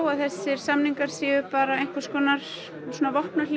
að þessir samningar séu einhvers konar